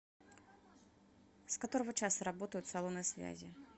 с которого часа работают салоны связи